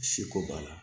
Si ko b'a la